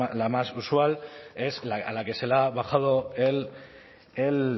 la más usual es a la que se le ha bajado el